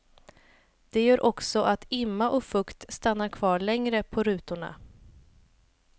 Det gör också att imma och fukt stannar kvar länge på rutorna.